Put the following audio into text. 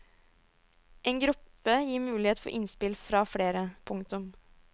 En gruppe gir mulighet for innspill fra flere. punktum